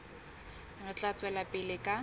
re tla tswela pele ka